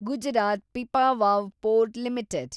Gujarat Pipavav port limited